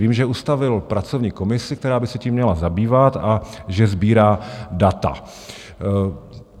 Vím, že ustavil pracovní komisi, která by se tím měla zabývat, a že sbírá data.